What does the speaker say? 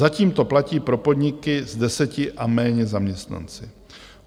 Zatím to platí pro podniky s deseti a méně zaměstnanci.